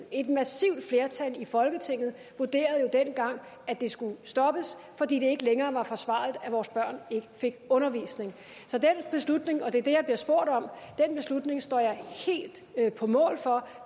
et massivt flertal i folketinget vurderede jo dengang at det skulle stoppes fordi det ikke længere var forsvarligt at vores børn ikke fik undervisning så den beslutning og det er det jeg bliver spurgt om står jeg helt på mål for